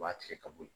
U b'a tigɛ ka bɔ yen